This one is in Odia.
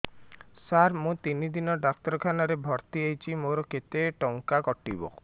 ସାର ମୁ ତିନି ଦିନ ଡାକ୍ତରଖାନା ରେ ଭର୍ତି ହେଇଛି ମୋର କେତେ ଟଙ୍କା କଟିବ